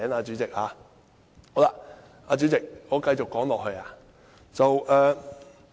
主席，我繼續說下去。